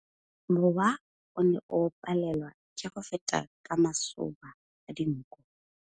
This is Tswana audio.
Mowa o ne o palelwa ke go feta ka masoba a dinko.